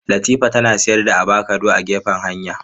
Latifa tana sayar da avakado a gefen hanya.